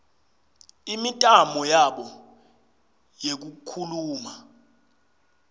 imitamo yabo yekukhuluma